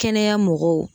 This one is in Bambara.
Kɛnɛya mɔgɔw